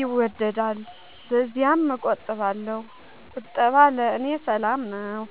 ይወገሳልና ለዚያም እቆጥባለሁ። ቁጠባ ለእኔ ሰላም ነው።